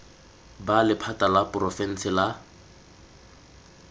b lephata la porofense la